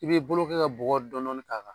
I b'i bolo kɛ ka bɔgɔ dɔɔni dɔɔni k'a kan.